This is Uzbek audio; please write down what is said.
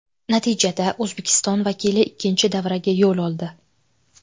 Natijada O‘zbekiston vakili ikkinchi davraga yo‘l oldi.